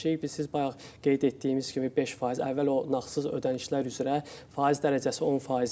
Biz siz bayaq qeyd etdiyimiz kimi 5%, əvvəl o nağdsız ödənişlər üzrə faiz dərəcəsi 10% idi.